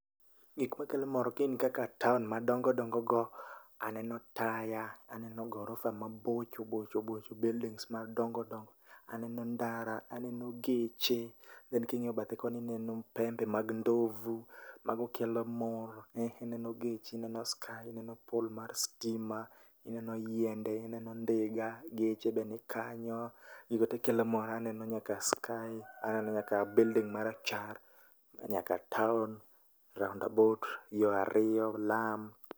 Gik makelo mor gin kaka town madongo dogo go ,aneno taya, aneno gorofa mabocho bocho bocho go, buildings madongo dongo. Aneno ndara, aneno geche then kingiyo bathe koni aneno pembe mag ndovu mago kelo mor. Aneno geche aneno sky, aneno poll mar stima ,ineno yiende, ineno ndiga, geche be nikanyo, gigo tee kelo mor. Aneno nyaka sky, aneno nyaka building marachar, nyaka town, roundabout, yoo ariyo, lam